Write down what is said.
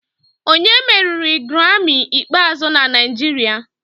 Onye meriri Grammy ikpeazụ na Naijiria?